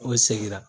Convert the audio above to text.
O seginna